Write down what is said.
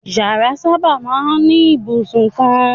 Ìyàrá sábà máa ń ní ibùsùn kan.